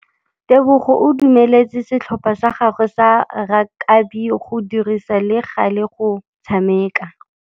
Tebogô o dumeletse setlhopha sa gagwe sa rakabi go dirisa le galê go tshameka.